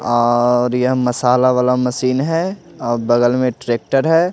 और यह मसाला वाला मशीन है और बगल में ट्रैक्टर है।